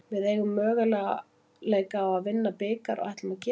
Við eigum möguleika á að vinna bikar og ætlum að gera það.